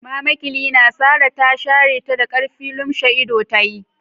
Mama Cleaner Sarah ta shareta da k'arfi, lumshe ido tayi.